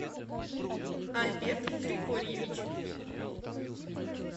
альберт григорьевич